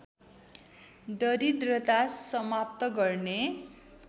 दरिद्रता समाप्त गर्ने